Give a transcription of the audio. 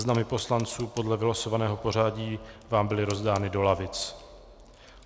Seznamy poslanců podle vylosovaného pořadí vám byly rozdány do lavic.